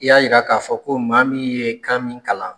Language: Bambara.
I y'a yira k'a fɔ ko maa min ye kan min kalan